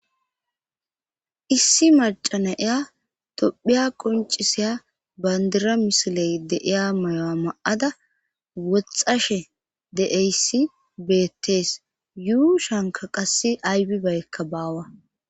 Issi macana iya tophiya qoncisiya bandira misiley de7iya mayo7a ma7ada woxxashe de7eyssi betes yuu shanka qassi aybibaykka baawa